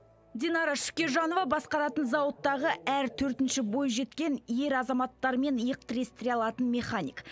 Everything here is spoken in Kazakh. динара шүкежанова басқаратын зауыттағы әр төртінші бойжеткен ер азаматтармен иық тірестіре алатын механик